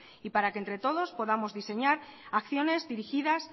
y para que entre todos podamos diseñar acciones dirigidas